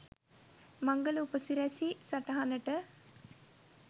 මංගල උපසිරසි සටහනට